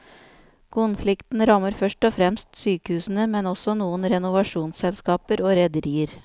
Konflikten rammer først og fremst sykehusene, men også noen renovasjonsselskaper og rederier.